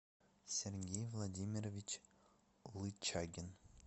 сергей владимирович лычагин